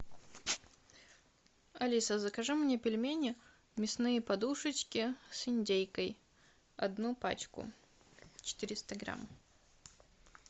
алиса закажи мне пельмени мясные подушечки с индейкой одну пачку четыреста грамм